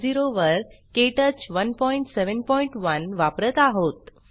वर क्टच 171 वापरत आहोत